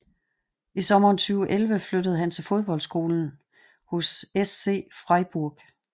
I sommeren 2011 flyttede han til fodboldskolen hos SC Freiburg